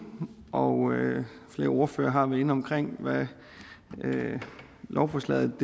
og flere ordførere har været inde omkring hvad lovforslaget